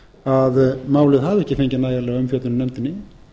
að málið hafi ekki fengið nægilega umfjöllun í nefndinni